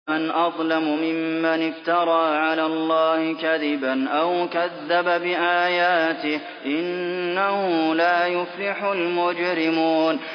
فَمَنْ أَظْلَمُ مِمَّنِ افْتَرَىٰ عَلَى اللَّهِ كَذِبًا أَوْ كَذَّبَ بِآيَاتِهِ ۚ إِنَّهُ لَا يُفْلِحُ الْمُجْرِمُونَ